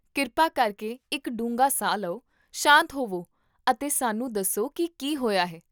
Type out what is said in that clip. ਕਿਰਪਾ ਕਰਕੇ ਇੱਕ ਡੂੰਘਾ ਸਾਹ ਲਓ, ਸ਼ਾਂਤ ਹੋਵੋ ਅਤੇ ਸਾਨੂੰ ਦੱਸੋ ਕੀ ਕੀ ਹੋਇਆ ਹੈ